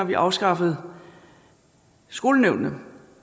vi afskaffede skolenævnene